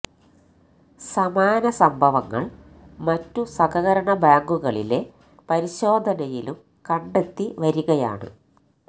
സമാന സംഭവങ്ങൾ മറ്റു സഹകരണ ബാങ്കുകളിലെ പരിശോധനയിലും കണ്ടെത്തി വരികയാണ്